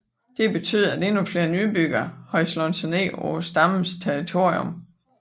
Det betød at endnu flere nybyggere havde slået sig ned på stammens territorium